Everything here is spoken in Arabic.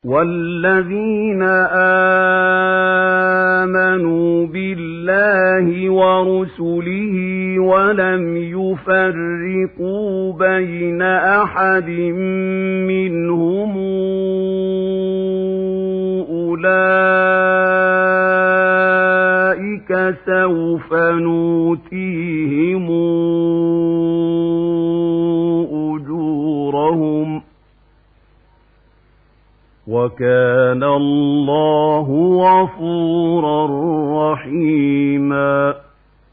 وَالَّذِينَ آمَنُوا بِاللَّهِ وَرُسُلِهِ وَلَمْ يُفَرِّقُوا بَيْنَ أَحَدٍ مِّنْهُمْ أُولَٰئِكَ سَوْفَ يُؤْتِيهِمْ أُجُورَهُمْ ۗ وَكَانَ اللَّهُ غَفُورًا رَّحِيمًا